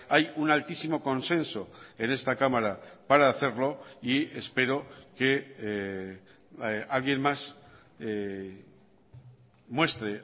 hay un altísimo consenso en esta cámara para hacerlo y espero que alguien más muestre